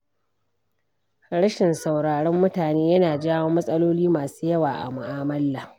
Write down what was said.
Rashin sauraron mutane yana jawo matsaloli masu yawa a mu'amala.